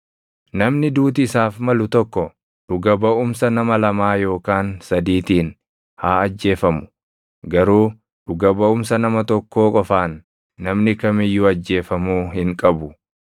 Namni duuti isaaf malu tokko dhuga baʼumsa nama lamaa yookaan sadiitiin haa ajjeefamu; garuu dhuga baʼumsa nama tokkoo qofaan namni kam iyyuu ajjeefamuu hin qabu.